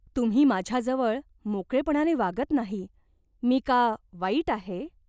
तुम्ही माझ्याजवळ मोकळेपणाने वागत नाही. मी का वाईट आहे ?